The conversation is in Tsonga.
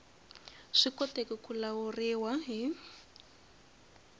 swi koteki ku lawuriwa hi